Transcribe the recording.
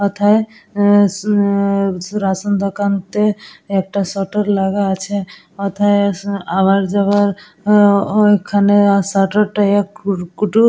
এথায় উম উম রেশন দোকানতে একটা সাটার লাগা আছে অথায় আওয়ার যাওয়ার উম ম ঐখানে সাটার কে --